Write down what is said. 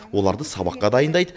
оларды сабаққа дайындайды